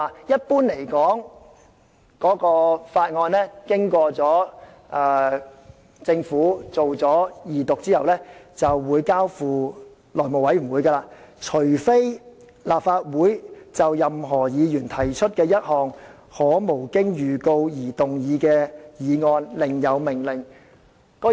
一般而言，法案經政府二讀後，便會交付內務委員會，除非立法會就任何議員提出的一項可無經預告而動議的議案另有命令。